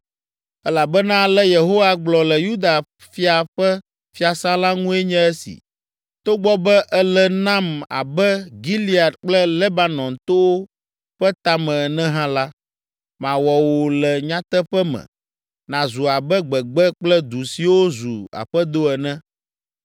Elabena ale Yehowa gblɔ le Yuda fia ƒe fiasã la ŋue nye esi: “Togbɔ be èle nam abe Gilead kple Lebanon towo ƒe tame ene hã la, mawɔ wò le nyateƒe me nàzu abe gbegbe kple du siwo zu aƒedo ene.